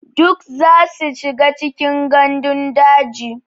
Duk zasu shiga cikin gandun daji.